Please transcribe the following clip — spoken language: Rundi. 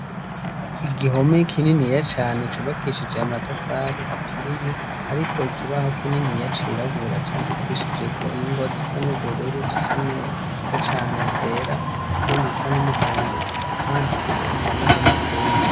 Igihome kininiya cane cubakishij' amatafari aturiye hariko ikibaho kininiya cirabura candikishijeko ingwa zisa n'ubururu zisa neza cane zera izindi zisa n'umuhondo hakaba habandiseko indome zo mu kirundi.